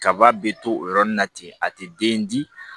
Kaba be to o yɔrɔnin na ten a tɛ den di